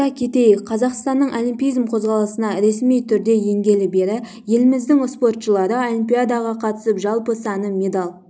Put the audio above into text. айта кетейік қазақстанның олимпизм қозғалысына ресми түрле енгелі бері еліміздің спортшылары олимпиадаға қатысып жалпы саны медаль